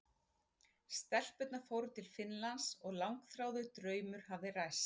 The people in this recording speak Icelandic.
Stelpurnar fóru til Finnlands og langþráður draumur hafði ræst.